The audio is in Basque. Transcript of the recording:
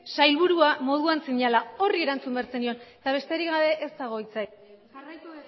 sailburua moduan zinela horri erantzun behar zenion eta besterik gabe ez dago hitzik jarraitu